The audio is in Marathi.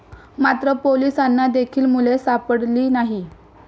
मात्र, पोलिसांना देखील मुले सापडली नाही.